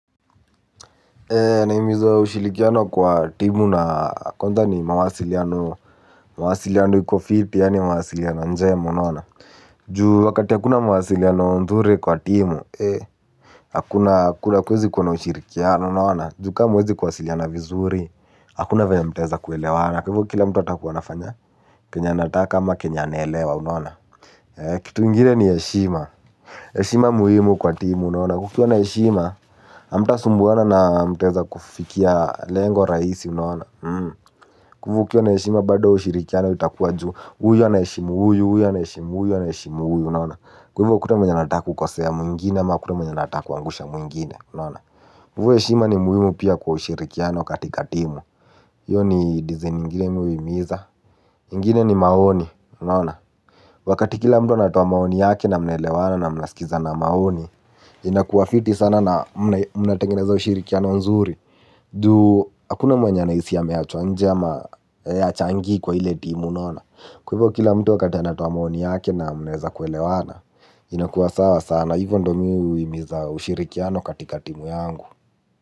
Naimizo ushirikiano kwa timu na konza ni mawasiliano. Mwasiliano yuko fiti yaani mawasiliano njemu unawana. Ju wakati hakuna mawasiliano ndhuri kwa timu. Hakuna kwezi kwa ushirikiano unaona. Ju ka hamuezi kuwasiliana vizuri. Hakuna venye mtaeza kuelewana kwa hivo kila mtu atakuwa anafanya kenye anataka ama kenye anaelewa unaona. Kitu ingine ni eshima eshima muhimu kwa timu unaona. Kukiwa na eshima amtasumbuwana na mteza kufikia lengo raisi mnaona kwa ivo ukiwa na eshima bado ushirikiano utakuwa juu huyu anaeshimu huyu huyu anaeahimu huyu anaeshimu huyu unaona kwa ivo hakuna mwenye anataka kukosea mwingine au kukosea mwingine ivo eshima ni muhimu pia kwa ushirikiano katika timu iyo ni design ingine mi uhimiza. Ingine ni maoni unaona. Wakati kila mtu anatoa maoni yake na mnaelewana na mnasikizana maoni inakuwa fiti sana na mnatengeneza ushirikiano mzuri, juu hakuna mwenye anahisi ameachwa nje ama achangii kwa ile timu unaona kwa ivo kila mtu wakati anatoa maoni yake na mnaeza kuelewana. Inakuwa sawa sana hivyo ndo mi uimiza ushirikiano katika timu yangu.